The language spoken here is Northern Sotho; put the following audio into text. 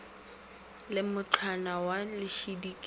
le mmutlana wa lešidi ke